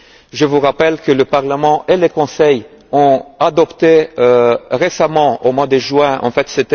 aussi. Je vous rappelle que le Parlement et le Conseil ont adopté récemment, au mois de juin, un